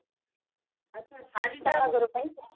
ଆଛା ଶାଢୀଟା